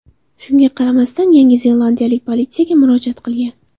Shunga qaramasdan, Yangi zelandiyalik politsiyaga murojaat qilgan.